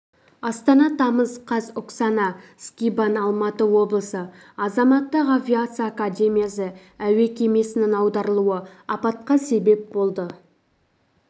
астана тамыз қаз оксана скибан алматы облысы азаматтық авиация академиясы әуе кемесінің аударылуы апатқа себеп болды